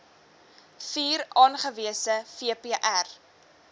vier aangewese vpr